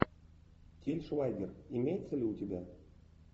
тиль швайгер имеется ли у тебя